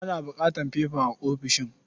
Ana buƙatar fefa a ofishin.